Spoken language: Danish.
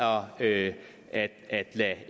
det